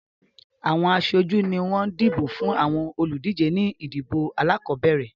Àwọn aṣojú ni wọ́n dìbò fún àwọn olùdíje ní ìdìbò alákọ̀ọ́bẹ̀rẹ̀